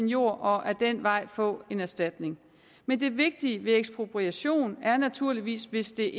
jord og ad den vej få en erstatning men det vigtige i en ekspropriation er naturligvis hvis det